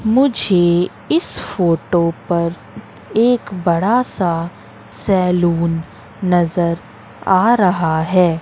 मुझे इस फोटो पर एक बड़ा सा सैलून नजर आ रहा है।